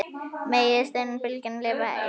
Megi seinni bylgjan lifa enn.